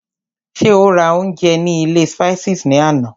Ṣé o rà oúnjẹ ní ilé Spices ní àná?